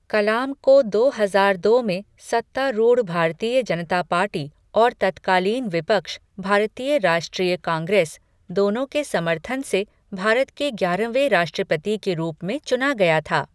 कलाम को दो हजार दो में सत्तारूढ़ भारतीय जनता पार्टी और तत्कालीन विपक्ष, भारतीय राष्ट्रीय कांग्रेस, दोनों के समर्थन से भारत के ग्यारहवें राष्ट्रपति के रूप में चुना गया था।